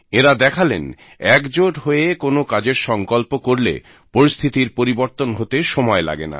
এঁরা দেখালেন একজোট হয়ে কোনো কাজের সংকল্প করলে পরিস্থিতির পরিবর্তন হতে সময় লাগেনা